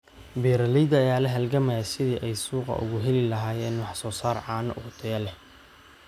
Beeralayda ayaa la halgamaya sidii ay suuqa ugu heli lahaayeen wax soo saar caano oo tayo leh.